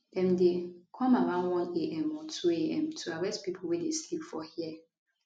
dem dey come around 1am or 2am to arrest pipo wey dey sleep for here